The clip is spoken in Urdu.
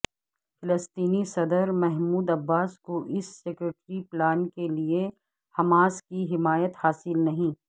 فلسطینی صدر محمود عباس کو اس سیکورٹی پلان کے لیے حماس کی حمایت حاصل نہیں